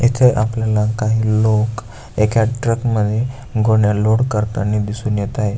इथ आपल्याला काही लोक एका ट्रक मध्ये गोण्या लोड करतानी दिसून येत आहे.